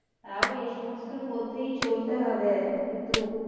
তাও এ সমস্তর মধ্যেই চলতে হবে কিন্তু,